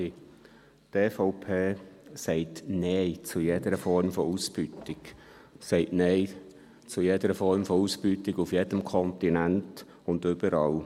Die EVP sagt Nein zu jeder Form von Ausbeutung, sagt Nein zu jeder Form von Ausbeutung auf jedem Kontinent und überall.